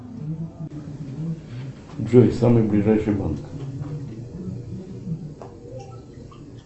джой самый ближайший банк